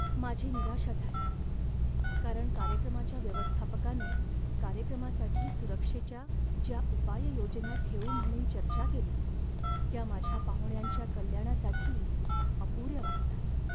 माझी निराशा झाली, कारण कार्यक्रमाच्या व्यवस्थापकाने कार्यक्रमासाठी सुरक्षेच्या ज्या उपाययोजना ठेवू म्हणून चर्चा केली त्या माझ्या पाहुण्यांच्या कल्याणासाठी अपुऱ्या वाटतात.